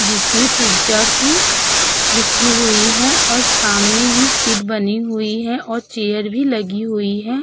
जिसमे पिज़्ज़ा की लिखी हुवी है और सामने ही सीट बनी हुवी है और चेयर भी लगी हुवी है ।